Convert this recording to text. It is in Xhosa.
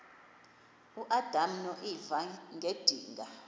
uadam noeva ngedinga